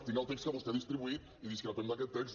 tinc el text que vostè ha distribuït i discrepem d’aquest text